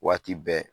Waati bɛɛ